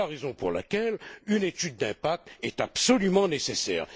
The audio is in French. C'est la raison pour laquelle une étude d'impact est absolument nécessaire.